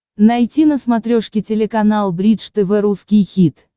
найти на смотрешке телеканал бридж тв русский хит